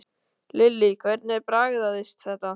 Lillý: Hvernig bragðaðist þetta?